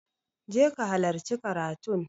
je ka halarci karatun!